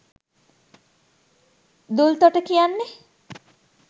දූල්තොට කියන්නේ